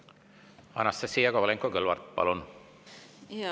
Anastassia Kovalenko-Kõlvart, palun!